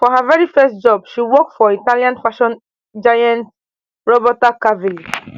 for her veri first job she walk for italian fashion giant roberto cavalli